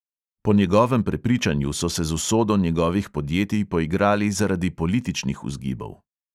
Po njegovem prepričanju so se z usodo njegovih podjetij poigrali zaradi političnih vzgibov.